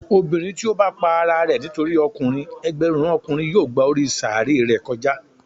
Obinrin ti o bá pá àrà rẹ nitori ọkùnrin, ẹgbẹrun Ọkùnrin yóò gbá orí sàáré rẹ kòjá.